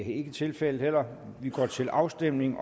ikke tilfældet her og vi går til afstemning